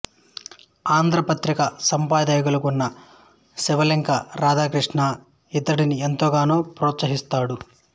ఆంధ్ర పత్రిక సంపాదకులయిన శివలెంక రాధాకృష్ణ ఇతడిని ఎంతగానో ప్రొత్సహించాడు